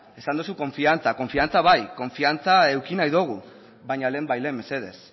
esan duzu konfiantza konfiantza bai konfiantza eduki nahi dugu baina lehenbailehen mesedez